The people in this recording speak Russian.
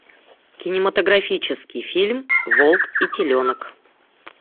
кинематографический фильм волк и теленок